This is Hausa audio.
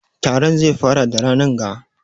Taron zai fara da ranan ga